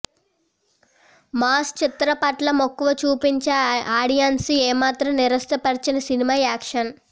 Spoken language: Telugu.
మాస్ చిత్రాలపట్ల మక్కువ చూపించే ఆడియన్స్ని ఏమాత్రం నిరాశపర్చని సినిమా యాక్షన్